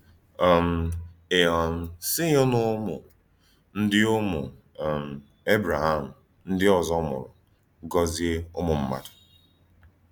um E um sị́ghì n’ụ́mụ́ ndí Ụ́mụ́ um Ébrèhàm ndí òzò mùrù gòzìe Ụ́mụ̀mmádụ.